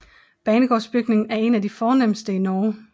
Banegårdsbygningen er en af de fornemste i Norge